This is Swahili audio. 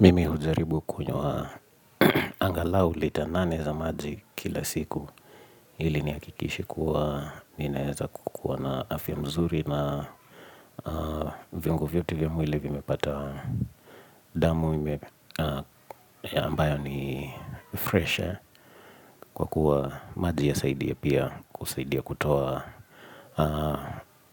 Mimi hujaribu kunywa angalau lita nane za maji kila siku Hili nihakikishe kuwa ninaeza kukuwa na afya mzuri na viungo vyote vya mwili vimepata damu ambayo ni freshi, Kwa kuwa maji yasaidia pia kusaidia kutoa